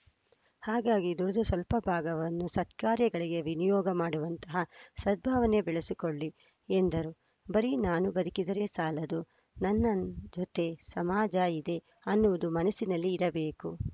ಹಾಗಾಗಿ ದುಡಿದ ಸ್ವಲ್ಪ ಭಾಗವನ್ನು ಸತ್ಕಾರ್ಯಗಳಿಗೆ ವಿನಿಯೋಗ ಮಾಡುವಂಥಹ ಸದ್ಭಾವನೆ ಬೆಳೆಸಿಕೊಳ್ಳಿ ಎಂದರು ಬರೀ ನಾನು ಬದುಕಿದರೆ ಸಾಲದು ನನ್ನ ಜೊತೆ ಸಮಾಜ ಇದೆ ಅನ್ನುವುದು ಮನಸ್ಸಿನಲ್ಲಿ ಇರಬೇಕು